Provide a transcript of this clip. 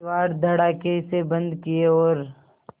किवाड़ धड़ाकेसे बंद किये और